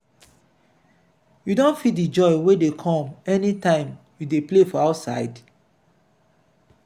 you don feel di joy wey dey come any time you dey play for outside?